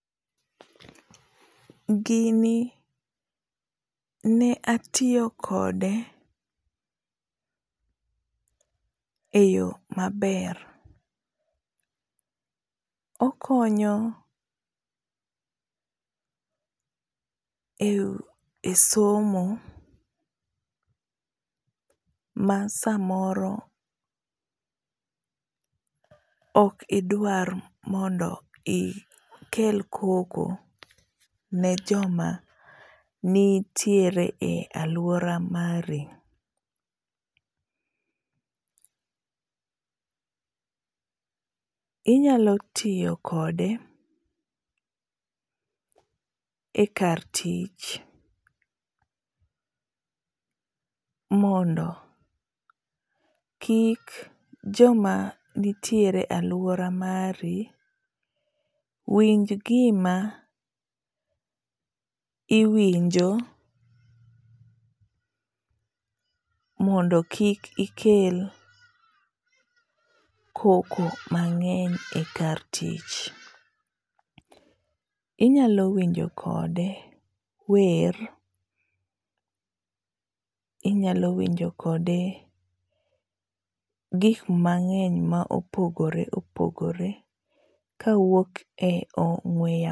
Gini ne atiyo kode eyo maber. Okonyo e somo ma samoro ok idwar mondo ikel koko ne joma nitiere e aluora mari. Inyalo tiyo kode ekar tich mondo kik joma nitie e aluora mari winj gima iwinjo mondo kik ikel koko mang'eny ekar tich. Inyalo winjo kode wer, inyalo winjo kode gik mang'eny ma opogore opogore kawuok e ong'ue yamo